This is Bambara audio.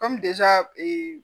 Kɔmi ee